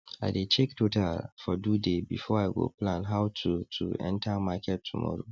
i dey check total for do day before i go plan how to to enter market tomorrow